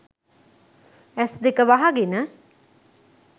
ඇස්දෙක වහගෙන